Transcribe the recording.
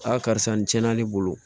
karisa nin tiɲɛna ne bolo